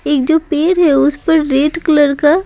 एक जो हैउस पर रेड कलर का।